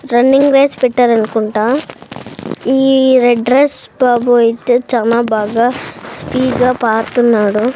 Running race పెట్టారనుకుంటా ఈ red dress బాబు అయితే చానా బాగా స్పీడ గా పార్తునాడు.